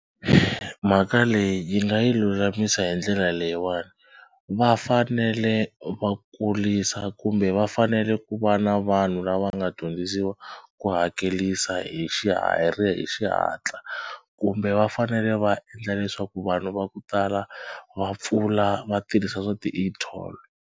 Mhaka leyi hi nga yi lulamisa hi ndlela leyiwani va fanele va kurisa kumbe va fanele ku va na vanhu lava nga dyondzisiwa ku hakelisa hi hi xihatla kumbe va fanele va endla leswaku vanhu va ku tala va pfula va tirhisa swa ti-e-toll.